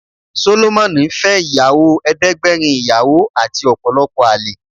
Sólómónì fẹ́ ìyàwó ẹdẹ́gbẹ́rin ìyàwó àti ọ̀pọ̀lọpọ̀ àlè